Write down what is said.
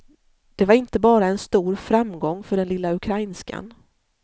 Det var inte bara en stor framgång för den lilla ukrainskan.